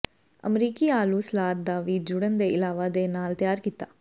ਅਮਰੀਕੀ ਆਲੂ ਸਲਾਦ ਦਾ ਵੀ ਜੁੜਨ ਦੇ ਇਲਾਵਾ ਦੇ ਨਾਲ ਤਿਆਰ ਕੀਤਾ